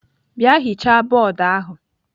Bịa hichaa bọọdụ ahụ!